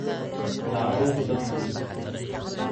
Dacunka dadku wuudilax.